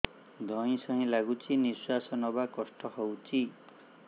ଧଇଁ ସଇଁ ଲାଗୁଛି ନିଃଶ୍ୱାସ ନବା କଷ୍ଟ ହଉଚି